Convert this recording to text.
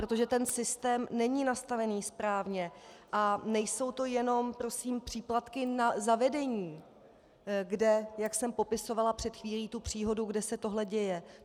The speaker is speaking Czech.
Protože ten systém není nastavený správně a nejsou to jenom prosím příplatky za vedení, kde, jak jsem popisovala před chvíli tu příhodu, kde se tohle děje.